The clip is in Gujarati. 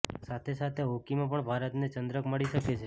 સાથે સાથે હોકીમાં પણ ભારતને ચન્દ્રક મળી શકે છે